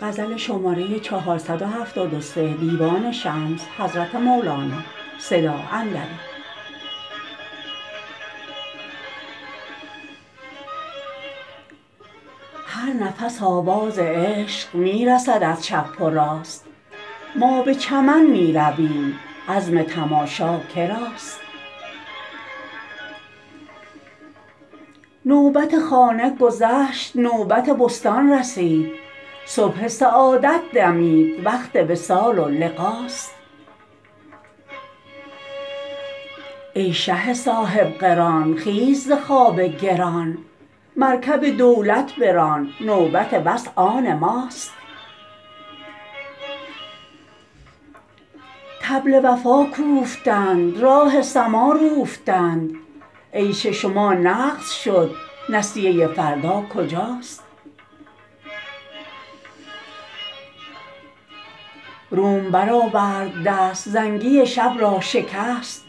هر نفس آواز عشق می رسد از چپ و راست ما به چمن می رویم عزم تماشا که راست نوبت خانه گذشت نوبت بستان رسید صبح سعادت دمید وقت وصال و لقاست ای شه صاحب قران خیز ز خواب گران مرکب دولت بران نوبت وصل آن ماست طبل وفا کوفتند راه سما روفتند عیش شما نقد شد نسیه فردا کجاست روم برآورد دست زنگی شب را شکست